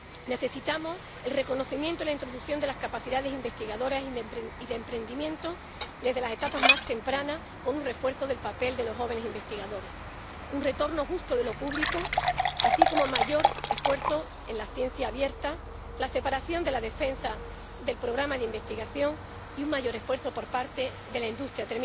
Necesitamos el reconocimiento y la introducción de las capacidades investigadoras y de emprendimiento desde las etapas más tempranas, con un refuerzo del papel de los jóvenes investigadores, un retorno justo de lo público, así como mayor esfuerzo en la ciencia abierta, la separación de la defensa del programa de investigación y un mayor esfuerzo por parte de la industria...